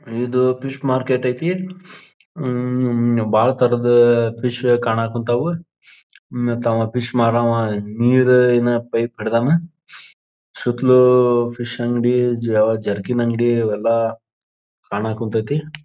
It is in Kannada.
ಇದು ಫಿಶ್ ಮಾರ್ಕೆಟ್ ಐತಿ ಉಹ್ ಬಹಳ ತರದು ಫಿಶ್ ಕಾಣಕುನ್ನತವು ಮತ್ತೆ ಅವ ಫಿಶ್ ಮಾರುವ ನೀರ ಏನ್ ಪೈಪ್ ಹಿಡದವ್ವ ಸುತ್ತಲೂ ಫಿಶ್ ಅಂಗಡಿ ಜ್ವಾಲ ಜರಕಿನ ಅಂಗಡಿ ಇವೆಲ್ಲಾ ಕಾಣಕೂನ್ತ್ಯ್ ತಿ.